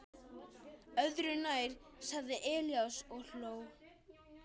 Öðru nær, sagði Elías og hló.